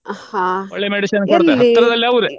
ಹಾ ಎಲ್ಲಿ?